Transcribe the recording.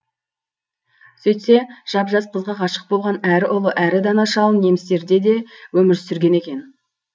сөйтсе жап жас қызға ғашық болған әрі ұлы әрі дана шал немістерде де өмір сүрген екен